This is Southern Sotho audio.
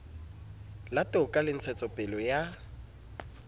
la toka le ntshetsopele ya